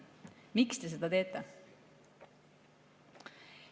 Miks te seda teete?